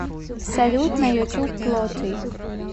салют на ютуб плоти